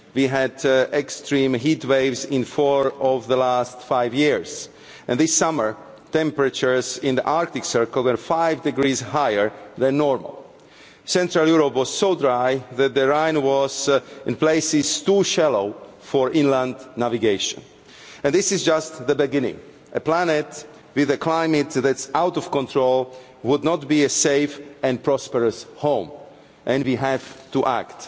We had extreme heat waves in four of the last five years and this summer temperatures in the Arctic Circle were five degrees higher than normal. Central Europe was so dry that the Rhine was in places too shallow for inland navigation. And this is just the beginning a planet with a climate that's out of control would not be a safe and prosperous home, and we have to act.